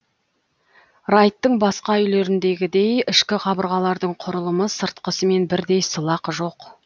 райттың басқа үйлеріндегідей ішкі қабырғалардың құрылымы сыртқысымен бірдей сылақ жоқ